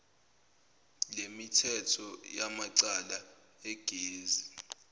lwemithetho yamacala egazi